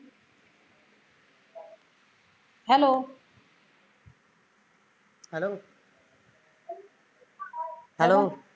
hello